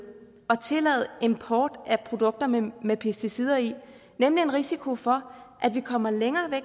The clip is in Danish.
at tillade import af produkter med med pesticider i nemlig en risiko for at vi kommer længere væk